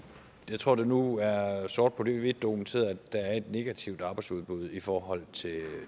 jeg tror at det nu er sort på hvidt dokumenteret at der er et negativt arbejdsudbud i forhold